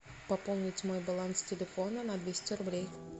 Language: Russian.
пополнить мой баланс телефона на двести рублей